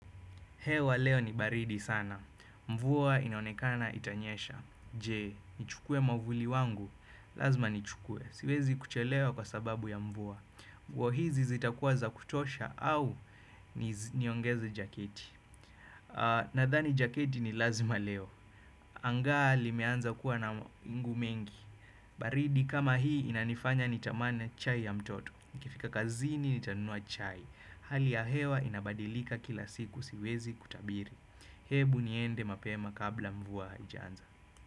Hewa leo ni baridi sana. Mvua inaonekana itanyesha. Je, nichukue mwavuli wangu? Lazima nichukue. Siwezi kuchelewa kwa sababu ya mvua. Mvua hizi zitakuwa za kutosha au niongeze jaketi. Nadhani jaketi ni lazima leo. Angaa limeanza kuwa na mawingu mingi. Baridi kama hii inanifanya nitamani chai ya mtoto. Nikifika kazini nitanunua chai. Hali ya hewa inabadilika kila siku siwezi kutabiri. Hebu niende mapema kabla mvua haijaanza.